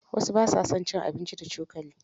Wasu ba sa cin abinci da cokali.